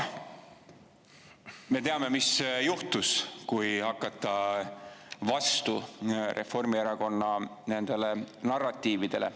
Me teame, mis juhtus, kui hakata vastu Reformierakonna nendele narratiividele.